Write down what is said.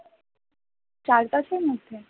চার পাঁচের মধ্যে?